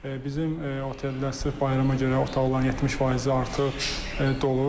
Bizim otellər sırf bayrama görə otaqların 70 faizi artıq dolu.